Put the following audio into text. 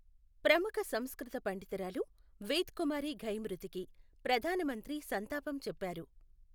ప్రముఖ సంస్కృత పండితురాలు వేద్ కుమారి ఘయి మృతికి ప్రధాన మంత్రి సంతాపం చెప్పారు.